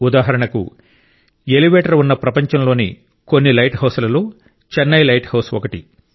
ఉదాహరణకు ఎలివేటర్ ఉన్న ప్రపంచంలోని కొన్ని లైట్ హౌస్లలో చెన్నై లైట్ హౌస్ ఒకటి